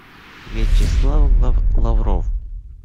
вячеслав лавров